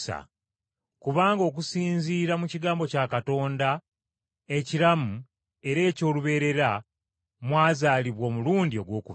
Kubanga okusinziira mu kigambo kya Katonda ekiramu era eky’olubeerera, mwazaalibwa omulundi ogwokubiri.